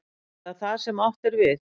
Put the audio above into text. Er það það sem átt er við?